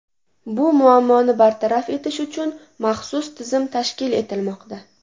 Bu muammoni bartaraf etish uchun maxsus tizim tashkil etilmoqda.